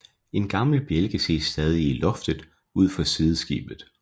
En gammel bjælke ses stadig i loftet ud for sideskibet